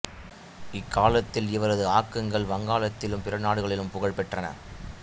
இக் காலத்தில் இவரது ஆக்கங்கள் வங்காளத்திலும் பிற நாடுகளிலும் புகழ் பெற்றன